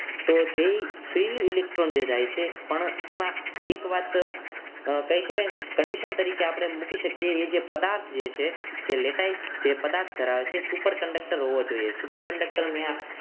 તો જે free નું electron જે જાય છે એમાં એક વાત કહી શકાય ને કે condition તરીકે આપણે મૂકી શકીએ જે એ જે પદાર્થ જે છે જે latize જે પદાર્થ ધરાવે છે એ superconductor હોવો જોઈએ conductor મિયા